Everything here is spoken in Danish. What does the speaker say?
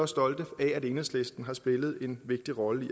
stolte af at enhedslisten har spillet en vigtig rolle i